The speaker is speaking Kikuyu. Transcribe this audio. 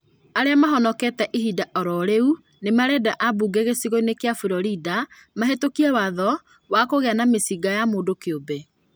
Arĩa mahonokete ihinda oro rĩu mĩnarenda ambunge gĩcigo-inĩ kĩa Florida mahetũkie watho wakũgĩa na mĩcinga ya mũndũ kĩumbe